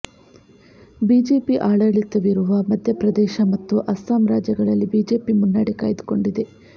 BJP ಆಡಳಿತವಿರುವ ಮಧ್ಯ ಪ್ರದೇಶ ಮತ್ತು ಅಸ್ಸಾಂ ರಾಜ್ಯಗಳಲ್ಲಿ ಬಿಜೆಪಿ ಮುನ್ನಡೆ ಕಾಯ್ದುಕೊಂಡಿದೆ